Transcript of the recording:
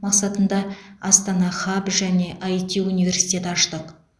мақсатында астана хаб және іт университет аштық